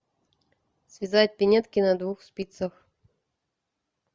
связать пинетки на двух спицах